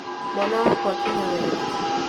Mwana wakwa kinya wega